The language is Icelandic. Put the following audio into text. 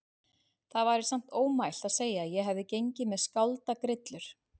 Það væri samt ofmælt að segja að ég hafi gengið með skáldagrillur.